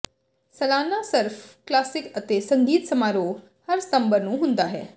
ਸਾਲਾਨਾ surf classic ਅਤੇ ਸੰਗੀਤ ਸਮਾਰੋਹ ਹਰ ਸਤੰਬਰ ਨੂੰ ਹੁੰਦਾ ਹੈ